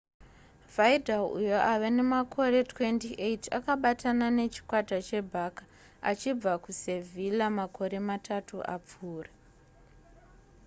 vidal uyo ava nemakore 28 akabatana nechikwata chebarça achibva kusevilla makore matatu apfuura